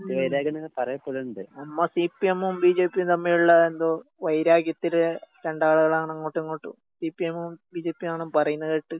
ഉം. നമ്മ സിപിഎമ്മും ബിജെപിയും തമ്മിലുള്ള എന്തോ വൈരാഗ്യത്തില് രണ്ടാള്കളാണ് അങ്ങോട്ടും ഇങ്ങോട്ടും സിപിഎമ്മും ബിജെപിയും ആണ് പറയുന്ന കേട്ടെ.